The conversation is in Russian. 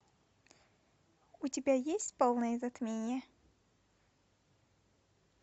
у тебя есть полное затмение